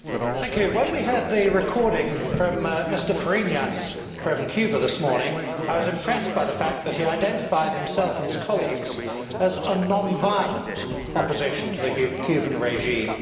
Madam President, when we heard the recording from Mr Fariñas from Cuba this morning, I was impressed by the fact that he identified himself and his colleagues as a non violent' opposition to the Cuban regime.